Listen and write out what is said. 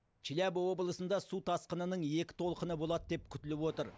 челябі облысында су тасқынының екі толқыны болады деп күтіліп отыр